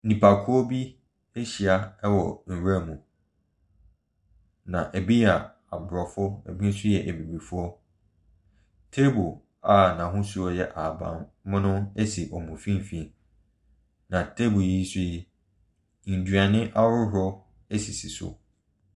Nipakuo bi ahyia wɔ nwura mu. Na ɛbi yɛ Aborɔfo, ɛbi nsi yɛ abibifoɔ. Table a n'ahosuo yɛ ahabammono si wɔn mfimfini. Na table yi so yi, nnuane ahodoɔ sisi so.